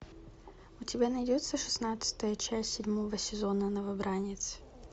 у тебя найдется шестнадцатая часть седьмого сезона новобранец